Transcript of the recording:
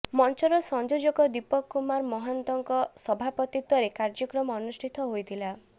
ମଞ୍ଚର ସଂଯୋଜକ ଦୀପକ କୁମାର ମହାନ୍ତଙ୍କ ସଭାପତିତ୍ବରେ କାର୍ଯ୍ୟକ୍ରମ ଅନୁଷ୍ଠିତ ହୋଇଥିଲା